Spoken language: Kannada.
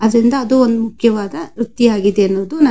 ಅದ್ರಿಂದ ಅದು ಒಂದು ಮುಖ್ಯವಾದ ವೃತಿ ಯಾಗಿದೆ ಎಂದು --